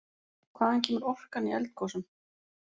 Hvaðan kemur orkan í eldgosum?